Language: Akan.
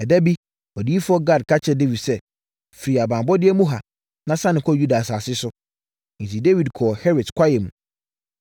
Ɛda bi, odiyifoɔ Gad ka kyerɛɛ Dawid sɛ, “Firi abanbɔeɛ mu ha, na sane kɔ Yuda asase so.” Enti, Dawid kɔɔ Heret kwaeɛ mu.